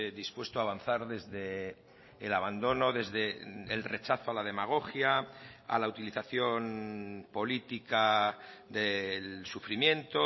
dispuesto a avanzar desde el abandono desde el rechazo a la demagogia a la utilización política del sufrimiento